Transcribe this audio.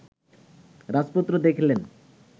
রাজপুত্র দেখিলেন